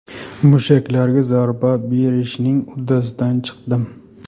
Mushaklarga zarba berishning uddasidan chiqdim.